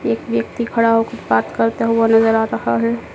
एक व्यक्ति खड़ा होकर बात करता हुआ नजर आ रहा है।